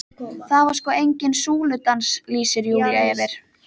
Það var sko enginn súludans, lýsir Júlía yfir.